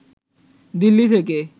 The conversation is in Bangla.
দিল্লি থেকে